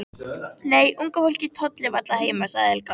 Nei, unga fólkið tollir varla heima sagði Helga.